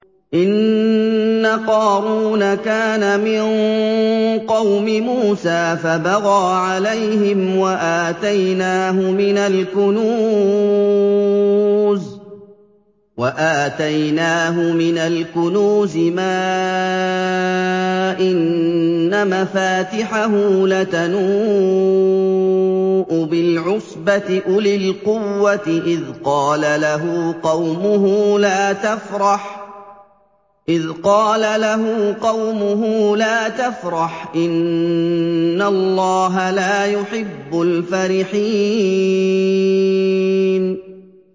۞ إِنَّ قَارُونَ كَانَ مِن قَوْمِ مُوسَىٰ فَبَغَىٰ عَلَيْهِمْ ۖ وَآتَيْنَاهُ مِنَ الْكُنُوزِ مَا إِنَّ مَفَاتِحَهُ لَتَنُوءُ بِالْعُصْبَةِ أُولِي الْقُوَّةِ إِذْ قَالَ لَهُ قَوْمُهُ لَا تَفْرَحْ ۖ إِنَّ اللَّهَ لَا يُحِبُّ الْفَرِحِينَ